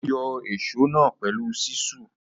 Ó yọ ìsó náà pẹ̀lú ṣísù.